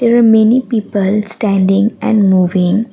There are many people standing and moving.